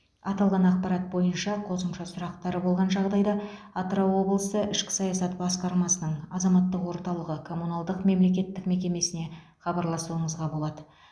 аталған ақпарат бойынша қосымша сұрақтар болған жағдайда атырау облысы ішкі саясат басқармасының азаматтық орталығы коммуналдық мемлекеттік мекемесіне хабарласуыңызға болады